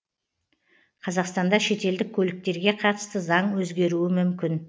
қазақстанда шетелдік көліктерге қатысты заң өзгеруі мүмкін